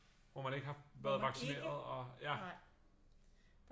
Hvor man ikke har været vaccineret og ja